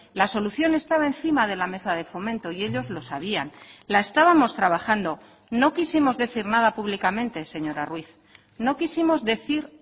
la solución estaba encima de la mesa de fomento y ellos lo sabían la estábamos trabajando no quisimos decir nada públicamente señora ruíz no quisimos decir